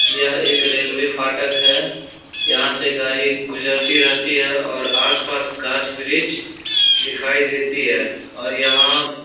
यह एक रेलवे फाटक है। यहां से गाड़ी गुजरती रहती है और आस-पास गाछ वृक्ष दिखाई देती और यहाँ --